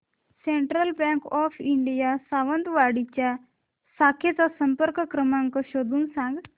central Bank of India Sawantwadi च्या शाखेचा संपर्क क्रमांक शोधून सांग